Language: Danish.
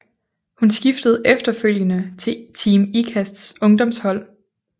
Hun skiftede efterfølgende til Team Ikasts ungdomshold